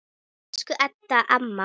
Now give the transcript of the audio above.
Elsku Ebba amma.